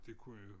Det kunne jo